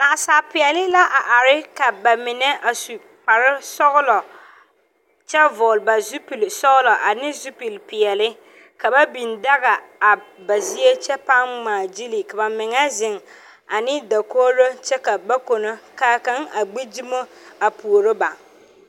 Naasaapeele la arẽ ka ba menne a su kpare suglo a vugli ba zupili suglo ani zupili peɛle ka ba bing daga a ba zeɛ kye paã nyaa kyili ka ba zeng ani dakouri kye ka ba kunno ka kanga a gbi duma a puoro ba.